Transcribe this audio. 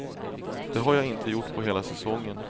Det har jag inte gjort på hela säsongen.